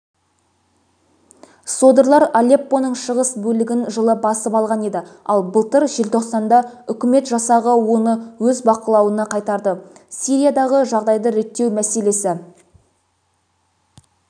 содырлар алеппоның шығыс бөлігін жылы басып алған еді ал былтыр желтоқсанда үкімет жасағы оны өз бақылауына қайтарды сириядағы жағдайды реттеу мәселесі